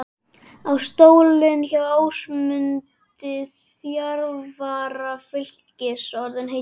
Er stóllinn hjá Ásmundi, þjálfara Fylkis orðinn heitur?